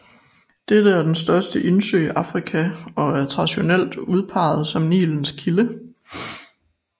Dette er den største indsø i Afrika og er traditionelt udpeget som Nilens kilde